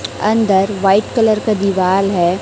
अंदर white colour का दीवाल है।